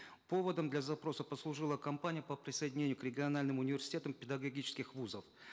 поводом для запроса послужила кампания по присоединению к региональным университетам педагогических вузов